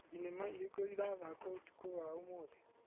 Thinema irĩkũ irathakwo ũtukũ wa ũmũthĩ /